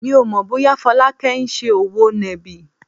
Mi ò mọ̀ bóyá Folake ń ṣe òwò nàbì.